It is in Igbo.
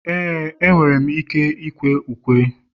ee, enwere m ike ịkwe ukwe